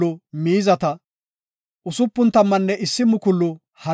Ola bidaysata gakida gishoy 337,500 dorsata;